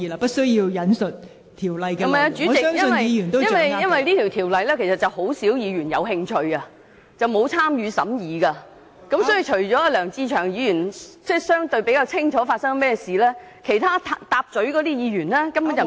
不是的，代理主席，因為只有很少議員對該規例有興趣，而且沒有參與審議工作，所以除了梁志祥議員比較清楚以外，其他議員都不太了解......